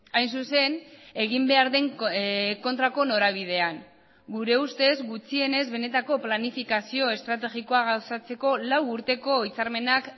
hain zuzen egin behar den kontrako norabidean gure ustez gutxienez benetako planifikazio estrategikoa gauzatzeko lau urteko hitzarmenak